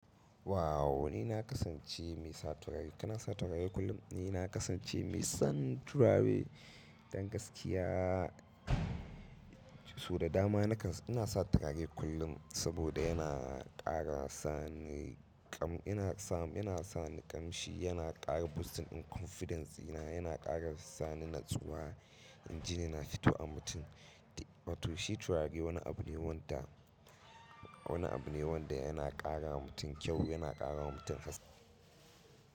Wow! Ni na kasance mai sa turare. Kana sa turare kullum? Ni na kasance mai son turare dan gaskiya. So da dama na kan, ina sa turare kullum saboda yana ƙara sani kam ina sa, ina sani ƙamshi, yana ƙara boosting din confidence dina, yana ƙara sani natsuwa, inji ni na fito a mutum. To shi turare wani abu ne wanda, wani abu ne wanda yana ƙara mutum kyau, yana ƙara wa mutum haske.